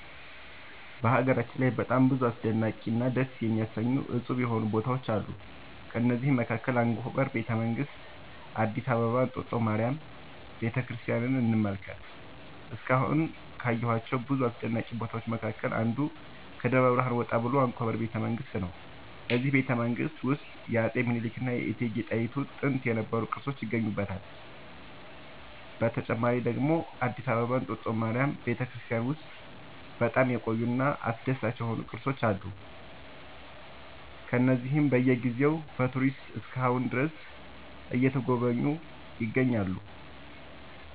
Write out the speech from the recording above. በሀገራችን ላይ በጣም ብዙ አስደናቂ እና ደስ የሚያሰኙ እፁብ የሆኑ ቦታዎች አሉ ከእነዚህም መካከል አንኮበር ቤተ መንግስት አዲስ አበባ እንጦጦ ማርያም ቤተክርስቲያንን እንመልከት እስካሁን ካየኋቸው ብዙ አስደናቂ ቦታዎች መካከል አንዱ ከደብረ ብርሃን ወጣ ብሎ አንኮበር ቤተ መንግስት ነው በዚህ ቤተመንግስት ውስጥ የአፄ ሚኒልክ እና የእቴጌ ጣይቱ ጥንት የነበሩ ቅርሶች ይገኙበታል። በተጨማሪ ደግሞ አዲስ አበባ እንጦጦ ማርያም ቤተክርስቲያን ውስጥ በጣም የቆዩ እና አስደሳች የሆኑ ቅርሶች አሉ እነዚህም በየ ጊዜው በቱሪስቶች እስከ አሁን ድረስ እየተጎበኙ ይገኛሉ